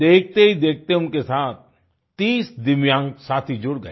देखतेहीदेखते उनके साथ 30 दिव्यांग साथी जुड़ गए